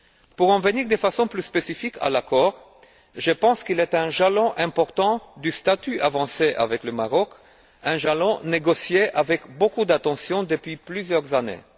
Pour en venir de façon plus spécifique à l'accord, je pense qu'il est un jalon important du statut avancé avec le Maroc, un jalon négocié avec beaucoup d'attention depuis plusieurs années.